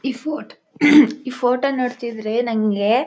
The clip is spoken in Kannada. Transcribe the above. ಈ ಫೋಟ್ ಈ ಫೋಟೋ ನೋಡ್ತಿದ್ರೆ ನಂಗೆ--